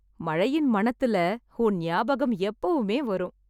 மழையின் மணத்துல உன் நியாபகம் எப்பவுமே வரும்